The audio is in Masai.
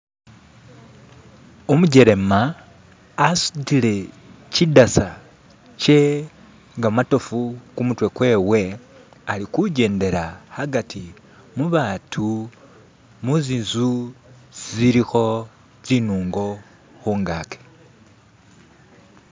Umujelema asudile kidasa kye gamatofu kumutwe kwewe ali kujendela agati mubatu muzinzu zilikho zinungo khungaki.